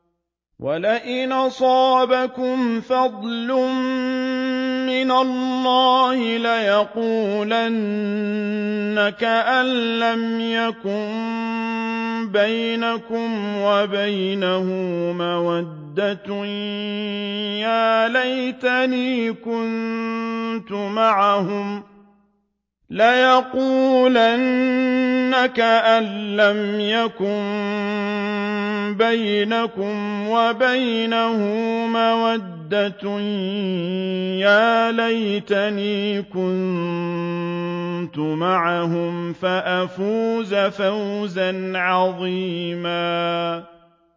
وَلَئِنْ أَصَابَكُمْ فَضْلٌ مِّنَ اللَّهِ لَيَقُولَنَّ كَأَن لَّمْ تَكُن بَيْنَكُمْ وَبَيْنَهُ مَوَدَّةٌ يَا لَيْتَنِي كُنتُ مَعَهُمْ فَأَفُوزَ فَوْزًا عَظِيمًا